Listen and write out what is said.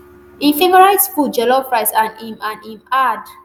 im favourite food jollof rice and im and im add